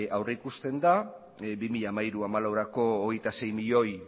aurrikusten da bi mila hamairu bi mila hamalauerako veintiséis milioi